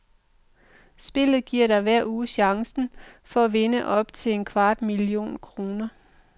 Spillet giver dig hver uge chancen for at vinde op til en kvart million kroner.